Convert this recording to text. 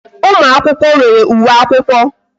Ụmụ akwụkwọ nwere uwe akwụkwọ